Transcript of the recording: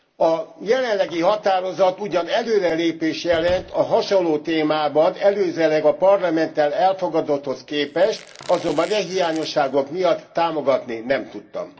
A jelenlegi határozat ugyan előre lépést jelent a hasonló témában előzőleg a Parlamenttel elfogadotthoz képest, azonban e hiányosságok miatt támogatni nem tudtam.